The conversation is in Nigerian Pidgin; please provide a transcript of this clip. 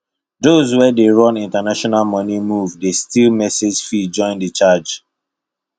those wey dey run international money move dey still message fee join the charge